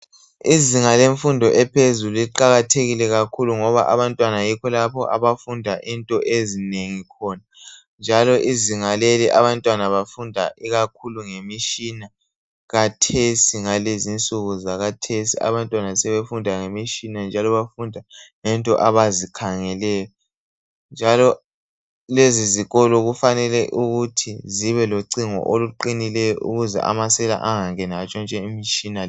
Izinga lemfundo ephezulu liqakathekile kakhulu ngoba abantwana yikho lapho abafunda into ezinengi khona. Njalo izinga leli abantwana bafunda ikakhulu ngemitshina. Khathesi ngalezinsuku zakhathesi abantwana sebefunda ngemitshina njalo bafunda ngento abazikhangeleyo njalo lezi zikolo kufanele ukuthi zibe locingo oluqinileyo ukuze amasela angangeni atshontshe imitshina.